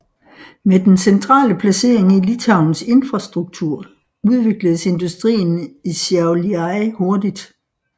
Med den centrale placering i Litauens infrastruktur udvikledes industrien i Šiauliai hurtigt